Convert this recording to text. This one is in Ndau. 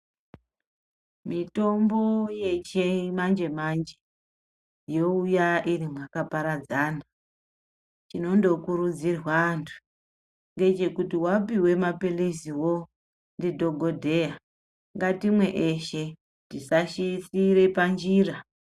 Mitombo yechimanje-manje youya irimwakaparadzana. Chinondokurudzirwa antu ngechekuti wapiwe maphiriziwo ndidhogodheya, ngatimwe eshe tisashiyire panjira.